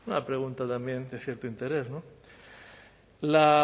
una pregunta también de cierto interés